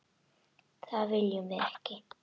Það viljum við ekki.